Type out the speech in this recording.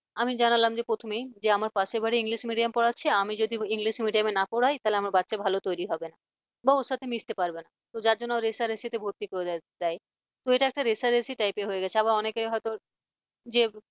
আমি জানালাম যে প্রথমে যে আমার পাশের বাড়ি english medium পড়াচ্ছে আমি যদি english medium না পরাই তাহলে আমার বাচ্চা ভালোভাবে তৈরি হবে না। বা ওর সাথে মিশতে পারবে না। তো যার জন্য রেষারেষিতে ভর্তি হয়ে যায় তো এটা একটা রেষারেষি typer হয়ে গেছে, আবার অনেকে হয়তো যে